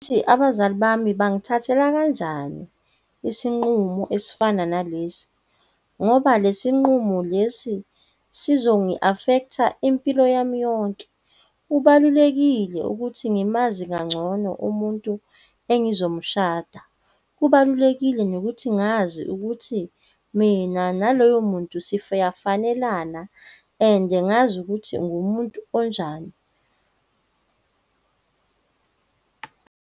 Abazali bami bangithathela kanjani isinqumo esifana nalesi, ngoba le sinqumo lesi sizongi-affect-a impilo yami yonke. Kubalulekile ukuthi ngimazi kangcono umuntu engizomshada. Kubalulekile nokuthi ngazi ukuthi mina naloyo muntu siyafanelana, ande ngazi ukuthi ngumuntu onjani.